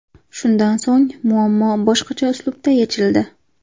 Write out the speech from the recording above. Shundan so‘ng muammo boshqacha uslubda yechildi.